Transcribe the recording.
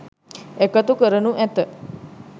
එකතු කරනු ඇත